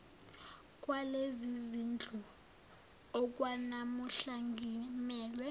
kwalezizindlu okwanamuhla ngimelwe